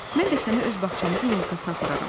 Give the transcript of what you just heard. Mən də səni öz bağçamızın yolkasına apararam.